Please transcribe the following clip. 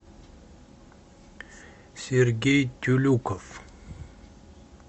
сергей тюлюков